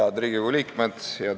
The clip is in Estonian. Head Riigikogu liikmed!